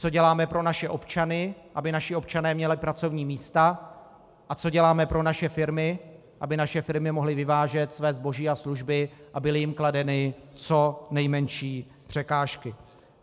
Co děláme pro naše občany, aby naši občané měli pracovní místa, a co děláme pro naše firmy, aby naše firmy mohly vyvážet své zboží a služby a byly jim kladeny co nejmenší překážky.